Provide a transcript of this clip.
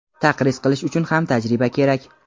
taqriz qilish uchun ham tajriba kerak.